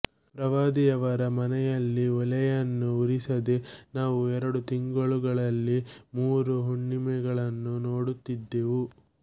ಪ್ರವಾದಿಯವರ ಮನೆಯಲ್ಲಿ ಒಲೆಯನ್ನು ಉರಿಸದೆ ನಾವು ಎರಡು ತಿಂಗಳುಗಳಲ್ಲಿ ಮೂರು ಹುಣ್ಣಿಮೆಗಳನ್ನು ನೋಡುತ್ತಿದ್ದೆವು